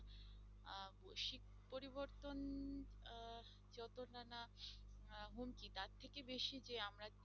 এর থেকে বেশি যে আমরা